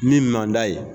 Min man d'a ye